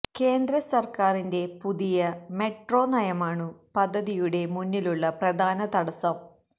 കേന്ദ്ര സർക്കാരിന്റെ പുതിയ മെട്രോ നയമാണു പദ്ധതിയുടെ മുന്നിലുള്ള പ്രധാന തടസ്സം